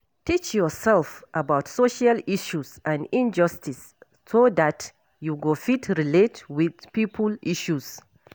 Teach yourself about social issues and injustice so dat you go fit relate with pipo issues